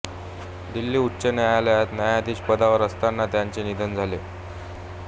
दिल्ली उच्च न्यायालयात न्यायाधीशपदावर असतानाच त्यांचे निधन झाले